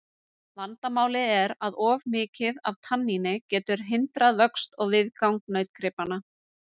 Vandamálið er að of mikið af tanníni getur hindrað vöxt og viðgang nautgripanna.